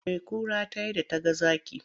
Me kura ta yi da ta ga zaki?